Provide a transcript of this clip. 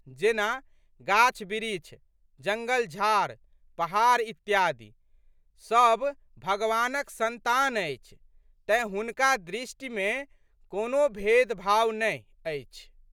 जेना, गाछबिरीछ, जंगलझाड़, पहाड़ इत्यादि। सब भगवानक संतान अछि तेँ, हुनका दृष्टिमे कोनो भेदभाव नहि अछि।